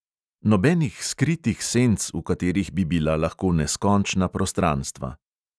Nobenih skritih senc, v katerih bi bila lahko neskončna prostranstva.